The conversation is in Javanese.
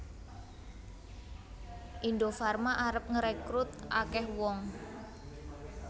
Indofarma arep ngrekrut akeh wong